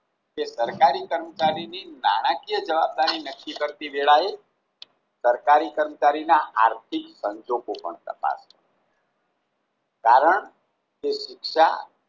કે સરકારી કર્મચારીની નાણાકીય જવાબદારી નક્કી કરતી વેળાએ સરકારી કર્મચારીના આર્થિક સંજોગો પણ તપાસવા કારણ તે શિક્ષા